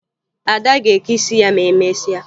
Ada ga-eke isi ya ma emesịa